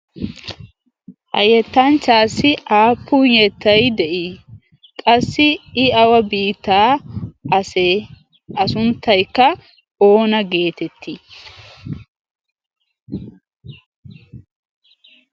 hayyettancchaassi aappun yettai de'ii qassi i awa biitaa asee a sunttaikka oona geetettii?